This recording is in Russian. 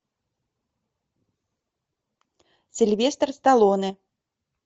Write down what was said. сильвестр сталлоне